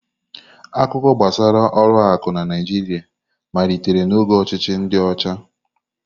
Akụkọ gbasara ụlọ akụ na Naịjirịa malitere n'oge ọchịchị ndi ocha.